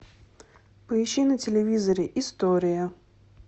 поищи на телевизоре история